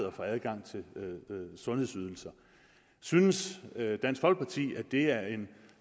og få adgang til sundhedsydelser synes dansk folkeparti at det er en